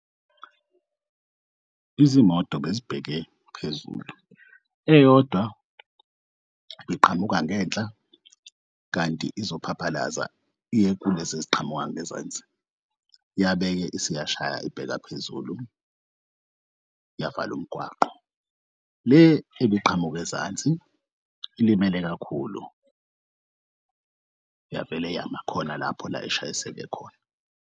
Izimoto bezibheke phezulu eyodwa beqhamuka ngenhla kanti izophaphalaza iye kulezi eziqhamuka ngezansi, yabeke isiyashaya ibheka phezulu yaval'umgwaqo. Le ebiqhamuka ezansi ilimele kakhulu yavele yamakhona lapho la eshayiseke khona.